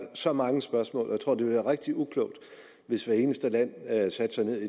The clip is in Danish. så mange spørgsmål og jeg tror det vil være rigtig uklogt hvis hvert eneste land satte sig ned